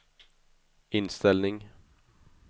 inställning